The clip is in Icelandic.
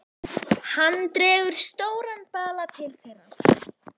Hann dregur stóran bala til þeirra.